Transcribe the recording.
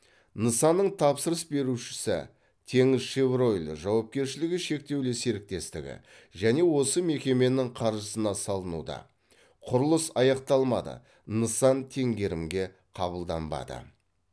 нысанның тапсырыс берушісі теңізшевройл жауапкершілігі шектеулі серіктестігі және осы мекеменің қаржысына салынуда құрылыс аяқталмады нысан теңгерімге қабылданбады